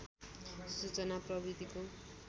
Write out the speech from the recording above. सूचना प्रविधिको